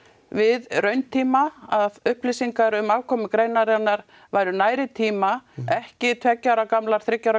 við rauntíma að upplýsingar um afkomu greinarinnar væru nær í tíma ekki tveggja ára gamlar þriggja ára